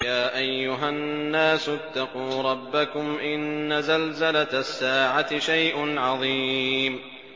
يَا أَيُّهَا النَّاسُ اتَّقُوا رَبَّكُمْ ۚ إِنَّ زَلْزَلَةَ السَّاعَةِ شَيْءٌ عَظِيمٌ